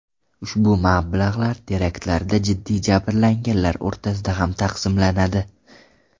Ushbu mablag‘lar teraktlarda jiddiy jabrlanganlar o‘rtasida ham taqsimlanadi.